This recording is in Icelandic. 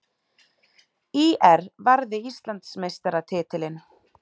ÍR varði Íslandsmeistaratitilinn